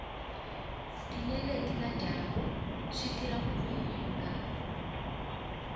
tinyeleti na dyambu switirha ku voninga